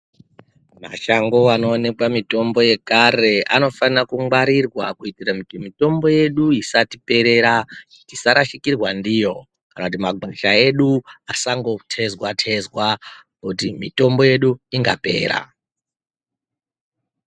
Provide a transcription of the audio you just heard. Mashango anoonekwa mitombo yekare anofane kugwarirwa kuitira kuti mitombo yedu isatiperera tisarashikirwa ndiyo kana kuti magwasha edu asangotezwa tezwa kuti mitombo yedu ingapera .